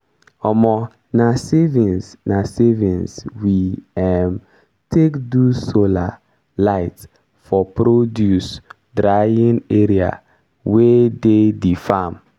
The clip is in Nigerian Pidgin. um na savings na savings we um take do solar light for produce dryign area wey de di farm.